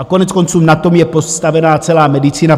A koneckonců, na tom je postavena celá medicína.